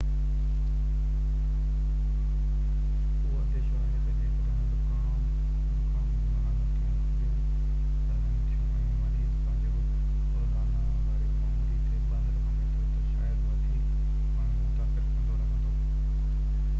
اهو انديشو آهي تہ جيڪڏهن زڪام جون علامتون هلڪيون رهن ٿيون ۽ مريض پنهنجيون روزانا واري معمول تي ٻاهر وڃي ٿو تہ شايد وڌيڪ ماڻهن کي متاثر ڪندو رهندو